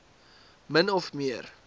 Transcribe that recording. min of meer